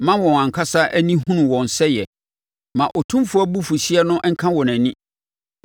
Ma wɔn ankasa ani nhunu wɔn sɛeɛ; ma Otumfoɔ abufuhyeɛ no nka wɔn ani.